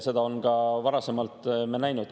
Seda oleme ka varasemalt näinud.